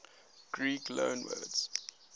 greek loanwords